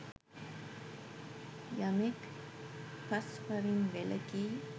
යමෙක් පස් පවින් වැළකී